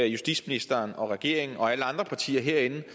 justitsministeren og regeringen og alle andre partier herinde